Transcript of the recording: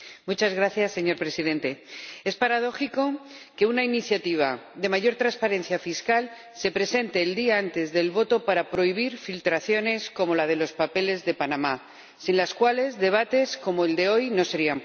Señor Presidente, es paradójico que una iniciativa de mayor transparencia fiscal se presente el día antes de la votación para prohibir filtraciones como la de los papeles de Panamá, sin las cuales debates como el de hoy no serían posibles.